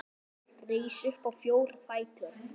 Rís upp á fjóra fætur.